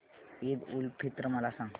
ईद उल फित्र मला सांग